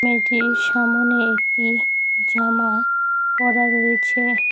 মেয়েটির সামোনে একটি জামা পরা রয়েছে।